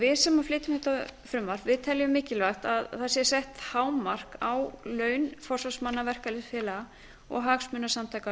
við sem flytjum þetta frumvarp teljum mikilvægt að það sé sett hámark á laun forsvarsmanna verkalýðsfélaga og hagsmunasamtaka